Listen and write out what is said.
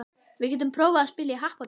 Við getum prófað að spila í happdrætti.